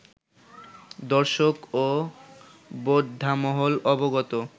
দর্শক ও বোদ্ধামহল অবগত